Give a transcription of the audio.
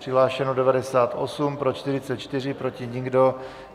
Přihlášeno 98, pro 44, proti nikdo.